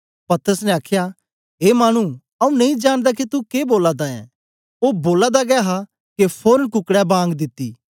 पतरस ने आखया ए मानु आऊँ नेई जानदा के तू के बोला दा ऐं ओ बोला दा गै हा के फोरन कुकडै बांग दिती